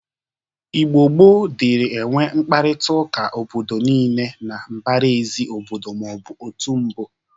Igbo gboo dịrị enwe mkparịtaụka obodo niile na mbaraezi obodo ma ọ bụ otobo